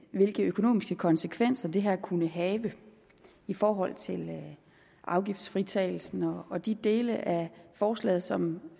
hvilke økonomiske konsekvenser det her kunne have i forhold til afgiftsfritagelsen og de dele af forslaget som